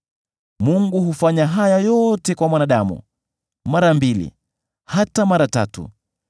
“Mungu hufanya haya yote kwa mwanadamu; mara mbili hata mara tatu,